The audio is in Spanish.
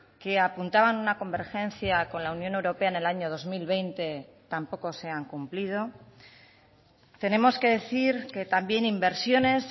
que apuntaban una convergencia con la unión europea en el año dos mil veinte tampoco se han cumplido tenemos que decir que también inversiones